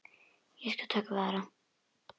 Ég skal taka við Ara.